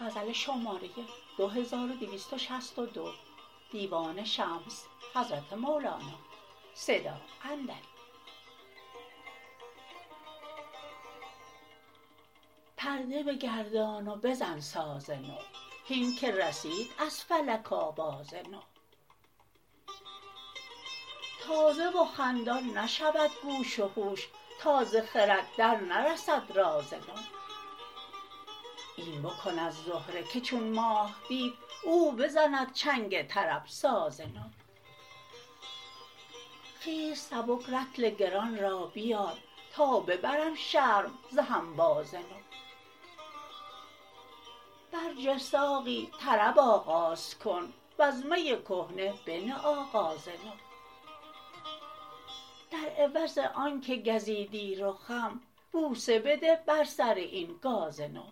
پرده بگردان و بزن ساز نو هین که رسید از فلک آواز نو تازه و خندان نشود گوش و هوش تا ز خرد درنرسد راز نو این بکند زهره که چون ماه دید او بزند چنگ طرب ساز نو خیز سبک رطل گران را بیار تا ببرم شرم ز هنباز نو برجه ساقی طرب آغاز کن وز می کهنه بنه آغاز نو در عوض آنک گزیدی رخم بوسه بده بر سر این گاز نو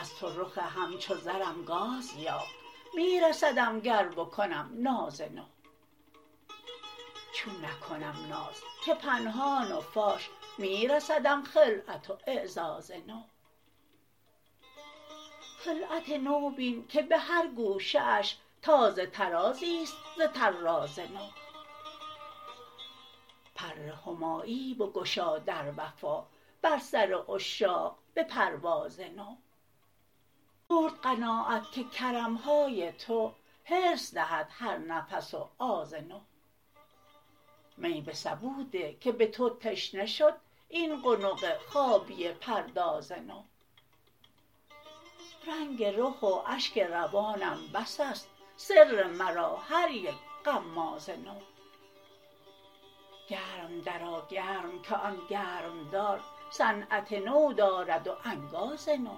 از تو رخ همچو زرم گاز یافت می رسدم گر بکنم ناز نو چون نکنم ناز که پنهان و فاش می رسدم خلعت و اعزاز نو خلعت نو بین که به هر گوشه اش تازه طرازی است ز طراز نو پر همایی بگشا در وفا بر سر عشاق به پرواز نو مرد قناعت که کرم های تو حرص دهد هر نفس و آز نو می به سبو ده که به تو تشنه شد این قنق خابیه پرداز نو رنگ رخ و اشک روانم بس است سر مرا هر یک غماز نو گرم درآ گرم که آن گرمدار صنعت نو دارد و انگاز نو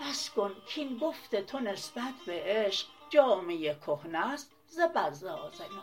بس کن کاین گفت تو نسبت به عشق جامه کهنه ست ز بزاز نو